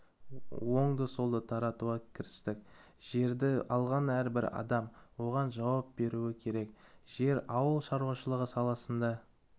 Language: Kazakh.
оңды-солды таратуға кірістік жерді алған әрбір адам оған жауап беруі керек жер ауыл шаруашылығы саласында